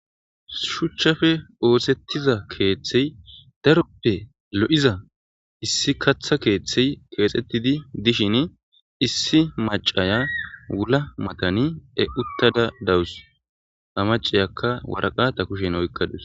Shuchappe osetiza kethi darope lo'za issi gata kethi dishin issi mac'aya wula matani utada de'awus ha mac'iyaka woraqata kushen oyqadus.